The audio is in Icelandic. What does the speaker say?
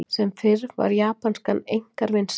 Sem fyrr var japanskan einkar vinsæl.